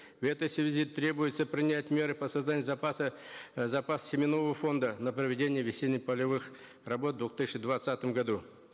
в этой связи требуется принять меры по созданию запаса э запас семенного фонда на проведение весенних полевых работ в двух тысячи двадцатом году